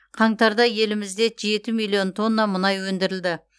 қаңтарда елімізде жеті миллион тонна мұнай өндірілді